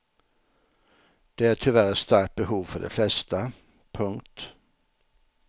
Det är tyvärr ett starkt behov för de flesta. punkt